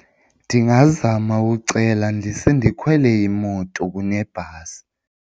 Ndingazama ucela ndise ndikhwele imoto kunebhasi.